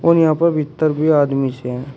यहां पर भीतर भी आदमी से--